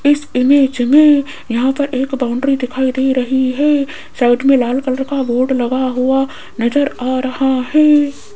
इस इमेज में यहां पर एक बाउंड्री दिखाई दे रही है साइड में लाल कलर का बोर्ड लगा हुआ नजर आ रहा है।